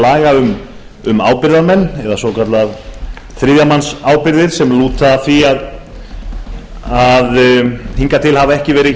laga um ábyrgðarmenn eða svokallaðar þriðja manns ábyrgðir sem lúta að því að hingað til hafa ekki verið